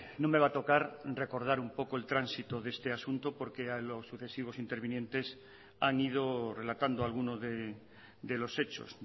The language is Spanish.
no me va a tocar recordar un poco el tránsito de este asunto porque los sucesivos intervinientes han ido relatando alguno de los hechos